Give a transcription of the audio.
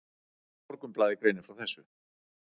Morgunblaðið greinir frá þessu.